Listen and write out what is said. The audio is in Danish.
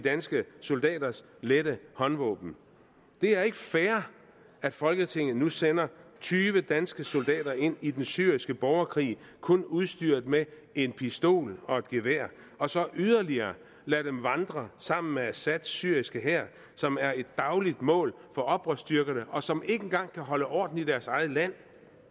danske soldaters lette håndvåben det er ikke fair at folketinget nu sender tyve danske soldater ind i den syriske borgerkrig kun udstyret med en pistol og et gevær og så yderligere lader dem vandre sammen med assads syriske hær som er et dagligt mål for oprørsstyrkerne og som ikke engang kan holde orden i deres eget land